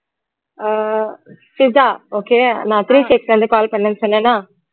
அஹ் சிஷா okay நான் இருந்து call பண்ணன்னு சொன்னேனா